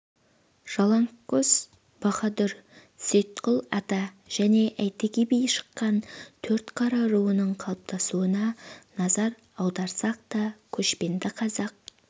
жалаңтқөс баһадур сейітқұл ата және әйтеке би шыққан төртқара руының қалыптасуына назар аударсақ та көшпенді қазақ